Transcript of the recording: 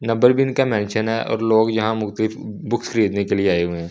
Number भी इनका mention है और लोग यहां मुक्तलिफ बुक्स खरीदने के लिए आए हुए हैं।